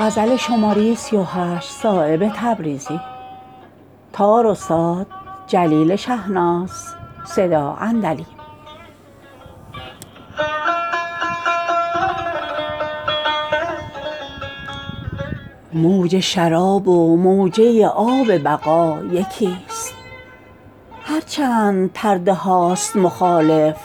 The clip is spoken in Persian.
موج شراب و موجه آب بقا یکی است هر چند پرده هاست مخالف